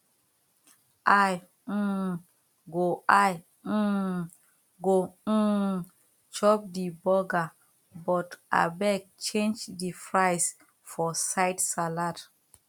i um go i um go um chop the burger but abeg change the fries for side salad